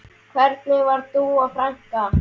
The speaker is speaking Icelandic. Hvernig var Dúa frænka?